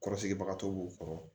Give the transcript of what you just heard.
Kɔrɔsigibagatɔ b'u kɔrɔ